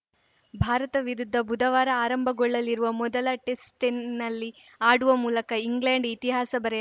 ಭಾರತ ವಿರುದ್ಧ ಬುಧವಾರ ಆರಂಭಗೊಳ್ಳಲಿರುವ ಮೊದಲ ಟೆಸ್ಟ್‌ನಲ್ಲಿ ಆಡುವ ಮೂಲಕ ಇಂಗ್ಲೆಂಡ್‌ ಇತಿಹಾಸ ಬರೆ